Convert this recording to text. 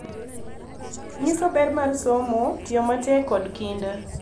Nyiso ber mar somo, tiyo matek, kod kinda.